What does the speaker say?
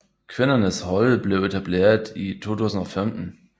Kvindernes hold blev etableret i 2015